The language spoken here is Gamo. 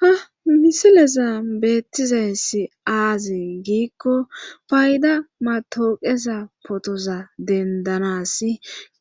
ha misileza beettizayssi aaze giikko payda matooqeza potoza dendanas